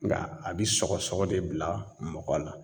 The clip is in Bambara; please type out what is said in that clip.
Nga a bi sɔgɔ sɔgɔ de bila mɔgɔ la.